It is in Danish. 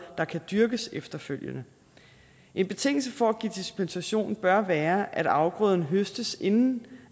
der kan dyrkes efterfølgende en betingelse for at give dispensation bør være at afgrøden høstes inden